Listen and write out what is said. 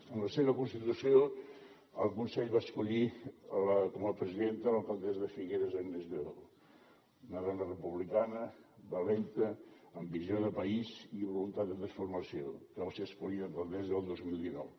en la seva constitució el consell va escollir com a presidenta l’alcaldessa de figueres agnès lladó una dona republicana valenta amb visió de país i voluntat de transformació que va ser escollida alcaldessa el dos mil dinou